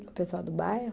O pessoal do bairro?